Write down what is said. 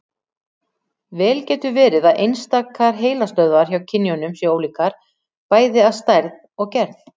Vel getur verið að einstakar heilastöðvar hjá kynjunum séu ólíkar, bæði að stærð og gerð.